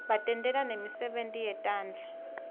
batentela nemisebenti yetandla